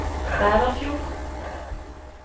Bæverfjord